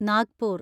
Nagpur